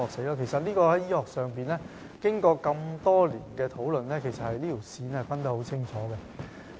就此，醫學上已經過多年的討論，並已清楚訂明有關界線。